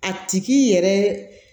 A tigi yɛrɛ